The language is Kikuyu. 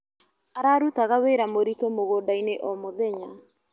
Ararutaga wĩra mũritũ mũgũndainĩ o mũthenya.